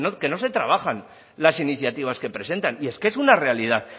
que no se trabajan las iniciativas que presentan y es que es una realidad